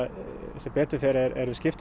sem betur fer